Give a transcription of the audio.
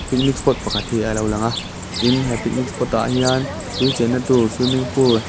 picnic spot pakhat hi a lo lang a tin he picnic spot ah hian tui chenna tûr swimming pool --